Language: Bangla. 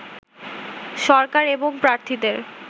সরকার এবং প্রার্থীদের